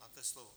Máte slovo.